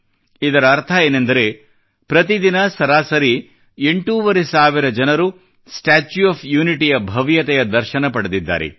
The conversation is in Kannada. ಇದರರ್ಥವೆಂದರೆ ಪ್ರತಿದಿನ ಸರಾಸರಿ ಎಂಟೂವರೆ ಸಾವಿರ ಜನರು ಸ್ಟಾಚ್ಯೂ ಆಫ್ ಯೂನಿಟಿಯ ಭವ್ಯತೆಯ ದರ್ಶನ ಪಡೆದಿದ್ದಾರೆ